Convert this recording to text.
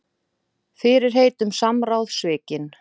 Fyrirheit um samráð svikin